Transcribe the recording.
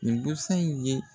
Nin busan in ye.